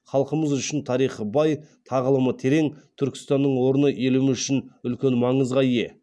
халқымыз үшін тарихы бай тағылымы терең түркістанның орны еліміз үшін үлкен маңызға ие